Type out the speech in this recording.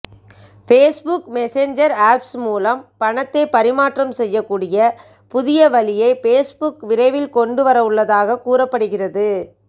Facebook messenger apps மூலம் பணத்தை பரிமாற்றம் செய்யக் கூடிய புதிய வழியை ஃபேஸ்புக் விரைவில் கொண்டு வரவுள்ளதாக கூறப்படுகிறது